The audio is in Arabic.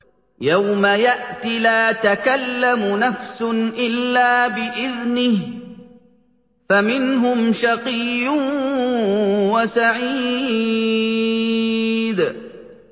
يَوْمَ يَأْتِ لَا تَكَلَّمُ نَفْسٌ إِلَّا بِإِذْنِهِ ۚ فَمِنْهُمْ شَقِيٌّ وَسَعِيدٌ